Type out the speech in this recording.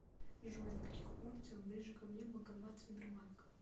джой на каких улицах ближе ко мне банкоматы сбербанка